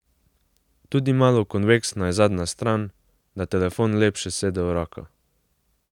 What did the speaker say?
Tudi malo konveksna je zadnja stran, da telefon lepše sede v roko.